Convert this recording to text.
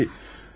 Tabii.